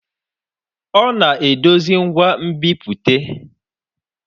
Ọ na-edozi ngwa nbipute.